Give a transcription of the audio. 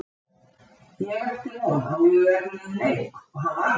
Ég átti von á mjög erfiðum leik og hann var það.